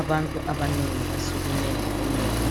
Abantu abanengi basukume ngobunengi